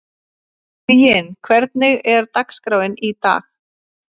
Huginn, hvernig er dagskráin í dag?